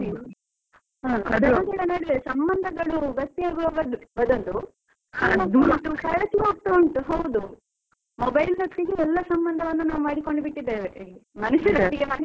ಹ ನಡುವೆ ಸಮಂಧಗಳು ಗಟ್ಟಿ ಆಗುವ ಬದ~ ಬದಲು, ಉಂಟು ಹೌದು, mobile ನೊಟ್ಟಿಗೆ ನಾವ್ ಎಲ್ಲ ಸಮಂಧಗಳನ್ನು ಮಾಡಿಕೊಂಡು ಬಿಟ್ಟಿದೇವೆ, ಮನುಷ್ಯರೊಟ್ಟಿಗೆ ಮಾಡ್ತಿಲ್ಲ.